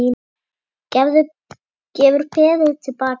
Gefur peðið til baka.